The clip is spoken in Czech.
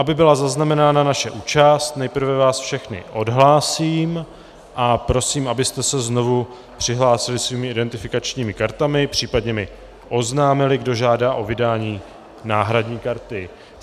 Aby byla zaznamenána naše účast, nejprve vás všechny odhlásím a prosím, abyste se znovu přihlásili svými identifikačními kartami, případně mi oznámili, kdo žádá o vydání náhradní karty.